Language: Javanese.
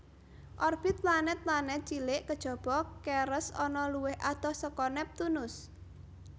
Orbit planèt planèt cilik kejaba Ceres ana luwih adoh saka Neptunus